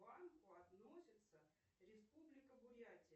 банку относится республика бурятия